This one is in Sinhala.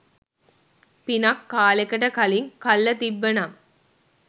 පිනක් කාලෙකට කලින් කල්ල තිබ්බ නම්